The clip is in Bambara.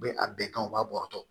U bɛ a bɛɛ kan u b'a bɔrɔtɔ